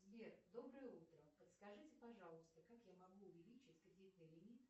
сбер доброе утро подскажите пожалуйста как я могу увеличить кредитный лимит